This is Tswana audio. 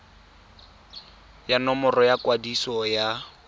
ya nomoro ya kwadiso ya